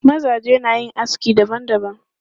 Mazaje na yin aski dabam dabam.